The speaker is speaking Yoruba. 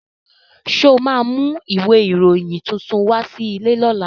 Ṣo ma mú ìwé ìròyìn tuntun wá sí ilé lọ́la?